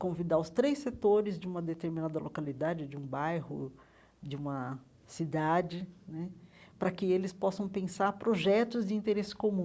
convidar os três setores de uma determinada localidade, de um bairro, de uma cidade né, para que eles possam pensar projetos de interesse comum.